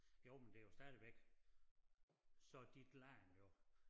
Jo men det jo stadigvæk så dit land jo